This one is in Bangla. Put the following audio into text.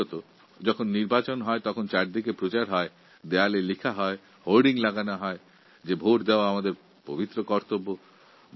বিশেষ করে নির্বাচনের সময় ভোটদান আমাদের পবিত্র কর্তব্য লেখা হোর্ডিং বিজ্ঞাপন দেওয়াললিখন ইত্যাদি দেখা যায়